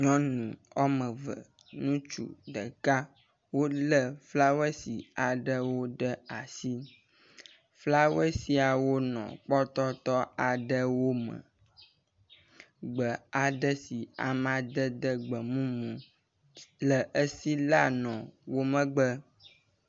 nyɔnu ɔmeve ŋutsu ɖeka wóle flawoesi aɖewo ɖe asi flawasiawo nɔ kpɔtɔtɔ aɖewo me gbe aɖe si amadede gbemumu le esi la nɔ wó megbe